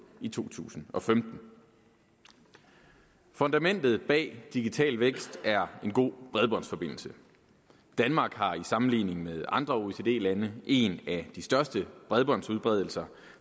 i to tusind og femten fundamentet bag digital vækst er en god bredbåndsforbindelse danmark har i sammenligning med andre oecd lande en af de største bredbåndsudbredelser